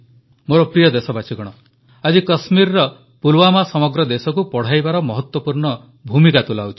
ମୋର ପ୍ରିୟ ଦେଶବାସୀଗଣ ଆଜି କାଶ୍ମୀରର ପୁଲୱାମା ସମଗ୍ର ଦେଶକୁ ପଢ଼ାଇବାର ମହତ୍ୱପୂର୍ଣ୍ଣ ଭୂମିକା ତୁଲାଉଛି